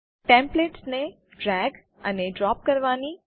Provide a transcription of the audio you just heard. templates ને drag અને drop કરવાની